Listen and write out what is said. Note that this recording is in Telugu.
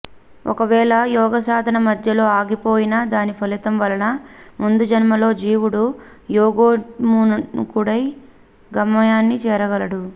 ఒకవేళ యోగసాధన మధ్యలో ఆగిపోయినా దాని ఫలితం వలన ముందుజన్మలో జీవుడు యోగోన్ముఖుడై గమ్యాన్ని చేరగలడు